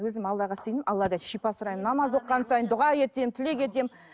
өзім аллаға сенемін алладан шипа сұраймын намаз оқыған сайын дұға етемін тілек етемін